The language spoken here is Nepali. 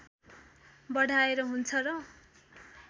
बढाएर हुन्छ र